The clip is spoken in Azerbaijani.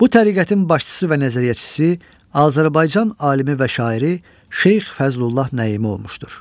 Bu təriqətin başçısı və nəzəriyyəçisi Azərbaycan alimi və şairi Şeyx Fəzlullah Nəimi olmuşdur.